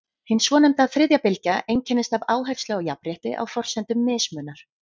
Hin svonefnda þriðja bylgja einkennist af áherslu á jafnrétti á forsendum mismunar.